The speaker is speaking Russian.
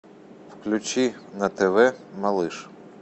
включи на тв малыш